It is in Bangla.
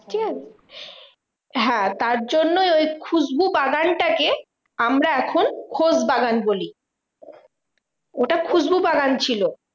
ঠিকাছে? তার জন্য ওই খুশবুবাগানটা কে আমরা এখন খোশবাগান বলি। ওটা খুসবু বাগান ছিল।